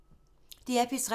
DR P3